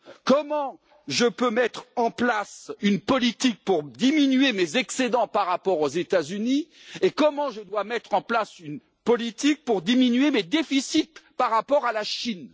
Comment mettre en place une politique pour diminuer mes excédents par rapport aux États Unis et comment mettre en place une politique pour diminuer mes déficits par rapport à la Chine?